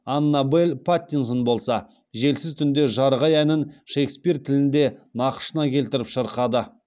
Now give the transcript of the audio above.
аннабель паттинсон болса желсіз түнде жарық ай әнін шекспир тілінде нақышына келтіріп шырқады